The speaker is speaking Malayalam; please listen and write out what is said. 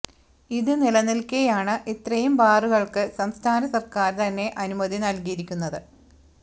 ഇത് നിലനില്ക്കേയാണ് ഇത്രയും ബാറുകള്ക്ക് സംസ്ഥാന സര്ക്കാര് തന്നെ അനുമതി നല്കിയിരിക്കുന്നത്